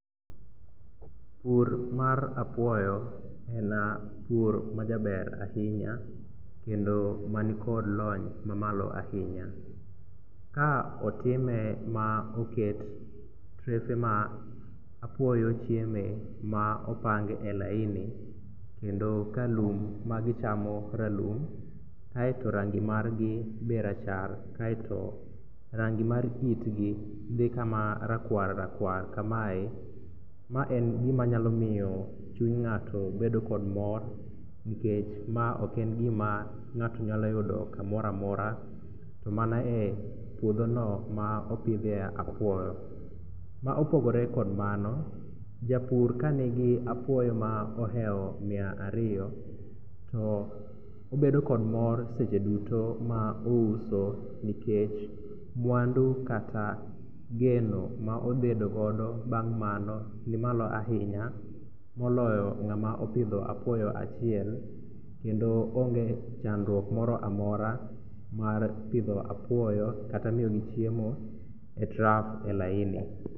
Pur mar apuoyo en pur majaber ahinya kendo mani kod lony mamalo ahinya. Ka otime ma oket trefe ma apuoyo chieme ma opang e laini kendo kalum ma gichamo ralum ae to rangi margi be rachar ae to rangi mar itgi dhi kama rakwar rakwar kamae. Ma en gima nyalo miyo chuny ng'ato bedo kod mor nikech ma oken gima ng'ato nyalo yudo kamoramora to mana e puodhono ma opidhe apuoyo. Ma opogore kod mano, japur kanigi apuoyo ma oheo mia ariyo to obedo kod mor seche duto ma ouso nikech mwandu kata geno ma obedo godo bang' mano ni malo ainya moloyo ng'ama opidho apuoyo achiel, kendo onge chandruok moro amora mar pidho apuoyo kata miyogi chiemo e trough e laini.